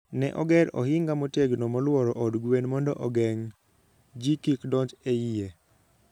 Ne oger ohinga motegno molworo od gwen mondo ogeng' ji kik donj e iye.